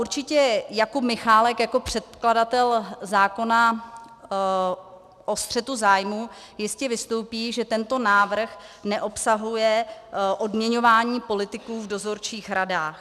Určitě Jakub Michálek jako předkladatel zákona o střetu zájmů jistě vystoupí, že tento návrh neobsahuje odměňování politiků v dozorčích radách.